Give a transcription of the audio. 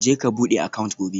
Je ka bude account gobe